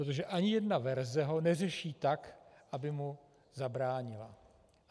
Protože ani jedna verze ho neřeší tak, aby mu zabránila.